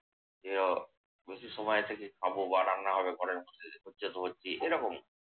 ইয়ে, বেশি সময় থেকে খাবো বা রান্না হবে ঘরের মধ্যে। হচ্ছে তো হচ্ছেই এরকম।